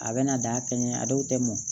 A bɛna da kɛɲɛ a dɔw tɛ mɔn